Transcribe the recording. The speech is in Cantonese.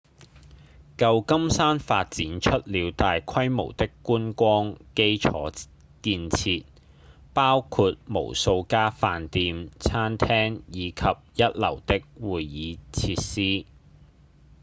舊金山發展出了大規模的觀光基礎建設包括無數家飯店、餐廳以及一流的會議設施